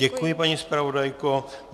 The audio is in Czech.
Děkuji, paní zpravodajko.